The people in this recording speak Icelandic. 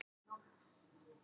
Gufunesvegi